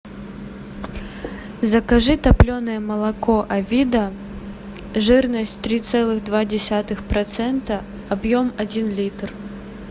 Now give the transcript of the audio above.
закажи топленое молоко авида жирность три целых два десятых процента объем один литр